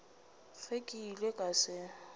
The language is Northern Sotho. ge ke ile ka se